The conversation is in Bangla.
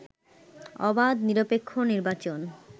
অবাধ, নিরপেক্ষ নির্বাচন